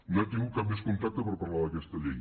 no hem tingut cap més contacte per parlar d’aquesta llei